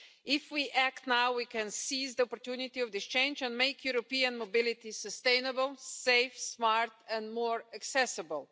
If we act now, we can seize the opportunity of this change and make European mobility sustainable, safe, smart and more accessible